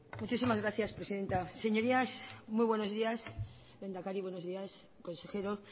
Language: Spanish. muchísimas gracias presidenta señorías muy buenos días lehendakari buenos días consejeros